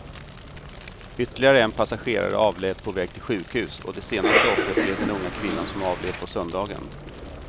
Ytterligare en passagerare avled på väg till sjukhus och det senaste offret blev den unga kvinnan som avled på söndagen.